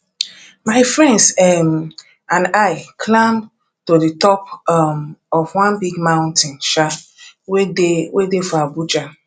my friends um and i climb to the top um of one big mountain um wey dey wey dey for abuja